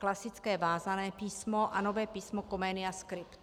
Klasické vázané písmo a nové písmo Comenia Script.